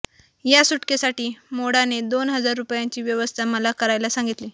या सुटकेसाठी मोढाने दोन हजार रुपयांची व्यवस्था मला करायला सांगितली